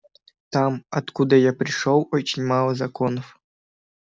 там откуда я пришёл очень мало законов